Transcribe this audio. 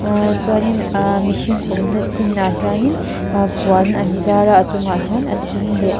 chuanin aa mihring awmna chinah hianin a puan an zar a a chungah hian a sen leh.